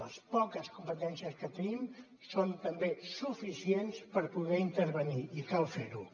les poques competències que tenim són també suficients per poder intervenir i cal fer ho